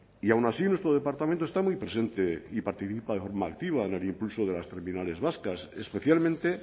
y aún así nuestro departamento está muy presente y participa de forma activa en el impulso de las terminales vascas especialmente